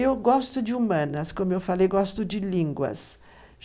Eu gosto de humanas, como eu falei, gosto de línguas.